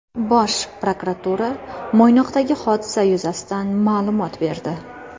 Bosh prokuratura Mo‘ynoqdagi hodisa yuzasidan ma’lumot berdi.